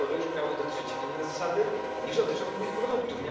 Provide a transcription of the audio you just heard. Dlaczego ryżu miałyby dotyczyć inne zasady, niż dotyczą innych produktów?